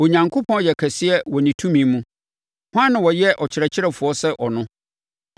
“Onyankopɔn yɛ kɛseɛ wɔ ne tumi mu. Hwan na ɔyɛ ɔkyerɛkyerɛfoɔ sɛ ɔno?